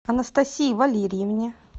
анастасии валерьевне